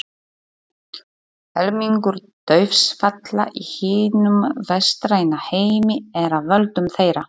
Helmingur dauðsfalla í hinum vestræna heimi er af völdum þeirra.